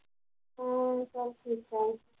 ਹਮ ਸਭ ਠੀਕ ਠਾਕ